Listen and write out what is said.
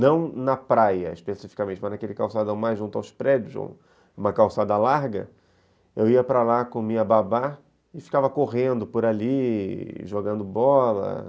não na praia especificamente, mas naquele calçadão mais junto aos prédios, uma calçada larga, eu ia para lá com minha babá e ficava correndo por ali, jogando bola.